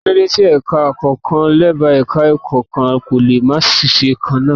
Kí ló dé tí ẹ̀ka kọ̀ọ̀kan lábẹ́ Ẹ̀ka-ẹ̀kọ́ kan kò lè máa ṣiṣẹ́ kan náà.